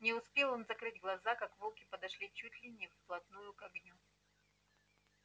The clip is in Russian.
не успел он закрыть глаза как волки подошли чуть ли не вплотную к огню